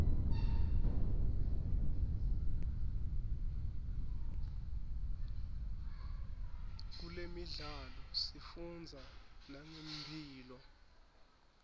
kulemidlalo sifundza nangemphilo